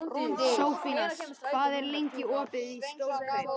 Sophanías, hvað er lengi opið í Stórkaup?